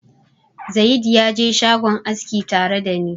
Zayid ya je shagon aski tare da ni.